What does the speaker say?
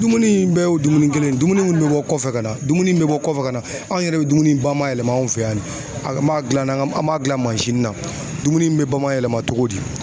Dumuni in bɛɛ y'o dumuni kelen ye, dumuni bɛ bɔ kɔfɛ ka na dumuni bɛ bɔ kɔfɛ ka na anw yɛrɛ bɛ dumuni ba mayɛlɛma anw fɛ yan, an b'a dilan, an b'a dilan mansin na, dumuni in bɛ bɔ ma yɛlɛma cogo di?